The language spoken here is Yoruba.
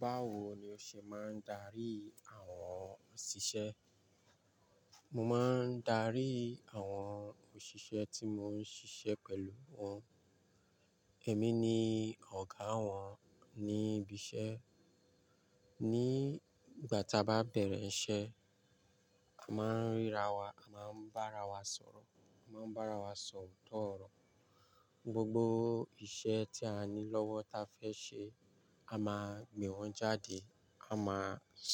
Báwo ni o ṣe máa ń darí àwọn òṣìṣẹ́? Mo máa ń darí àwọn òṣìṣẹ́ tí mo ń ṣiṣẹ́ pẹ̀lú wọn. Èmi ni ọ̀gá wọn ní ibi iṣẹ́. Ní ìgbà tí a bá bẹ̀rẹ̀ iṣẹ́, a máa ń ríra wa, a máa ń bá ara wa sọ̀rọ̀, a máa ń bá ara wa sọ̀rọ̀ ooto oro. Gbogbo iṣẹ́ tí a ní lọ́wọ́ ta fẹ́ ṣe, a máa gbìn wọ́n jáde. A máa